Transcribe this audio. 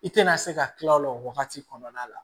I tɛna se ka tila o la o wagati kɔnɔna la